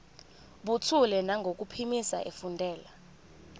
buthule nangokuphimisa efundela